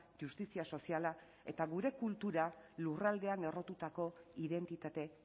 justizia soziala eta gure kultura lurraldean errotutako identitate